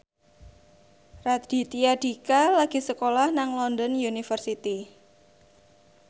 Raditya Dika lagi sekolah nang London University